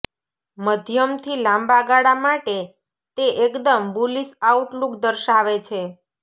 મધ્યમથી લાંબાગાળા માટે તે એકદમ બુલિશ આઉટલુક દર્શાવે છે